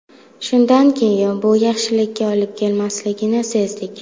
Shunday keyin bu yaxshilikka olib kelmasligini sezdik.